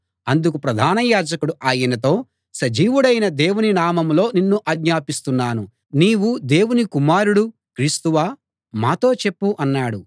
అందుకు ప్రధాన యాజకుడు ఆయనతో సజీవుడైన దేవుని నామంలో నిన్ను ఆజ్ఞాపిస్తున్నాను నీవు దేవుని కుమారుడు క్రీస్తువా మాతో చెప్పు అన్నాడు